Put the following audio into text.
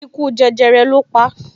Ikú jẹjẹrẹ lo pa